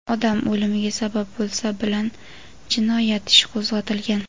odam o‘limiga sabab bo‘lsa) bilan jinoyat ishi qo‘zg‘atilgan.